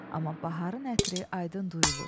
Amma baharın ətri aydın duyulur.